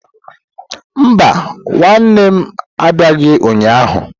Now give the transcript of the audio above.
Mba, nwanne nne m abịaghị ụnyahụ.